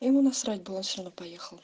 ему насрать было он все равно поехал